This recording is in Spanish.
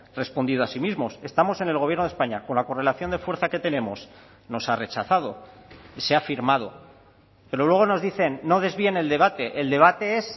respondido a sí mismos estamos en el gobierno de españa con la correlación de fuerza que tenemos nos ha rechazado se ha firmado pero luego nos dicen no desvíen el debate el debate es